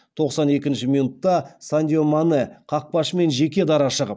тоқсан екінші минутта сандио мане қақпашымен жеке дара шығып